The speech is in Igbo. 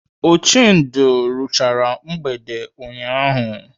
Ochendo ruchara mgbede ụnyaahụ.